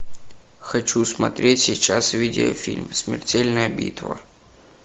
хочу смотреть сейчас видеофильм смертельная битва